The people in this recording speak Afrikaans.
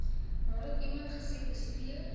nadat iemand gesekwestreer